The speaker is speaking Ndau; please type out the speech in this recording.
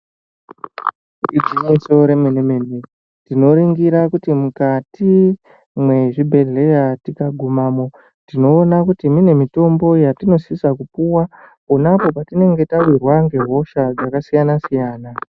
Igwinyiso remene mene, tinoringira kuti mwukati mwezvibhedhleya tikagumamo, tinoona kuti kune mitombo yatinosisa kupuwa ponapo patinenge tawirwa ngehosha dzakasiyana siyana.